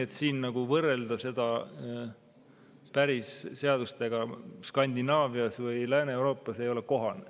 Seda ei ole kohane võrrelda seadustega Skandinaavias või Lääne-Euroopas.